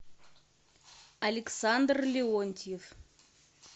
александр леонтьев